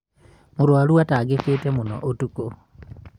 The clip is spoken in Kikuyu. mũrũaru atangĩkĩte mũno ũtũkũ